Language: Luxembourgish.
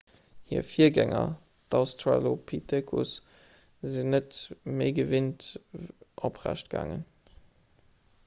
hir virgänger d'australopithecus sinn net ewéi gewinnt oprecht gaangen